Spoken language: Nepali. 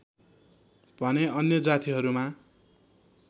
भने अन्य जातिहरूमा